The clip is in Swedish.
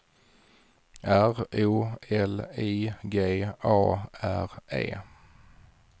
R O L I G A R E